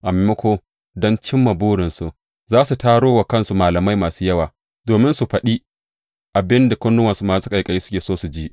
A maimako, don cimma burinsu, za su taro wa kansu malamai masu yawa, domin su faɗi abin da kunnuwansu masu ƙaiƙayi suke so su ji.